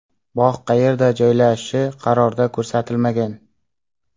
Bog‘ qayerda joylashishi qarorda ko‘rsatilmagan.